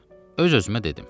Öz-özümə dedim: